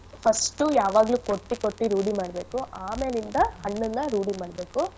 First ಉ ಯಾವಾಗ್ಲು ಕೊಟ್ಟು ಕೊಟ್ಟಿ ರೂಢಿ ಮಾಡ್ಬೇಕು ಆಮೇಲಿಂದ ಹಣ್ಣನ್ನ ರೂಢಿ ಮಾಡ್ಬೇಕು.